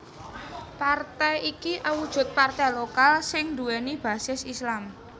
Partai iki awujud partai lokal sing nduwèni basis Islam